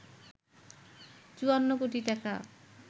৫৪ কোটি টাকা